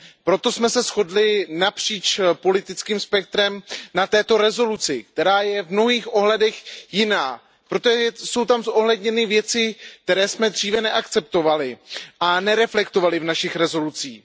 Proto jsme se shodli napříč politickým spektrem na této rezoluci, která je v mnohých ohledech jiná, protože jsou tam zohledněny věci, které jsme dříve neakceptovali a nereflektovali v našich rezolucích.